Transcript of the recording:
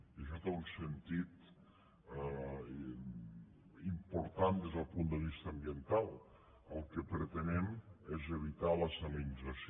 i això té un sentit important des del punt de vista ambiental el que pretenem és evitar la salinització